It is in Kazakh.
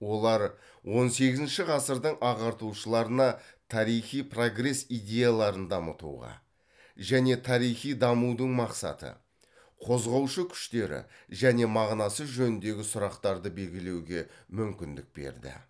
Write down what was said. олар он сегізінші ғасырдың ағартушыларына тарихи прогресс идеяларын дамытуға және тарихи дамудың мақсаты қозғаушы күштері және мағынасы жөніндегі сұрақтарды белгілеуге мүмкіндік берді